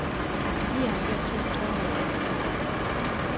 nioghalvfjerds tusind tre hundrede og atten